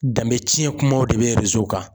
Danbe tiɲɛ kumaw de bɛ kan